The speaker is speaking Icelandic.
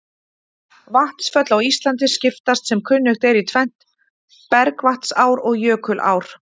Vatnsföll á Íslandi skiptast sem kunnugt er í tvennt, bergvatnsár og jökulár.